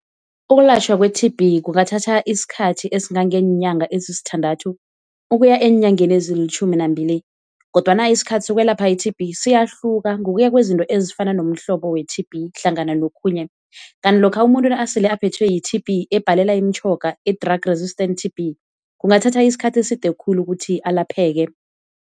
Ukulatjhwa kwe-T_B kungathatha isikhathi esingangeenyanga ezisithandathu ukuya eenyangeni ezilitjhumi nambili, kodwana isikhathi sokwelapha i-T_B siyahluka ngokuya kwezinto ezifana nomhlobo we-T_B hlangana nokhunye. Kanti lokha umuntu nasele aphethwe yi-T_B ebhalela imitjhoga i-drug resistant T_B kungathatha isikhathi eside khulu ukuthi alapheke.